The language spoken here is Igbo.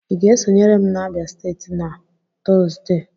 Ị ga-esonyere m na Abia steeti na Tọzdee?